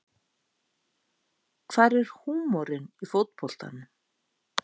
Hvar er húmorinn í fótboltanum